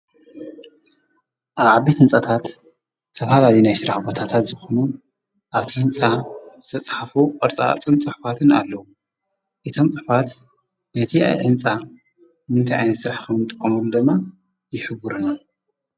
ኣብ ዓብት ትንጻታት ተብሃላ ዲና ይ ሥራሕ ወታታት ዝኾኑ ኣብቲ ሕንፃ ተጽሓፉ ወርፃፅን ጸሕፋትን ኣለዉ የቶም ጸሕፋት በቲ ኣዕንጻ ምንቲይኣኒት ሥራሕኸም ጠምሩ ደማ ይኅቡርና።